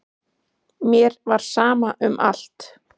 Mér var sama um allt.